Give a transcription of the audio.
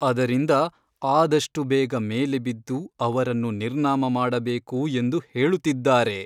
ಅದರಿಂದ ಆದಷ್ಟು ಬೇಗ ಮೇಲೆ ಬಿದ್ದು ಅವರನ್ನು ನಿರ್ನಾಮ ಮಾಡಬೇಕು ಎಂದು ಹೇಳುತ್ತಿದ್ದಾರೆ.